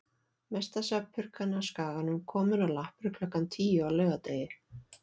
Mesta svefnpurkan á Skaganum komin á lappir klukkan tíu á laugardegi.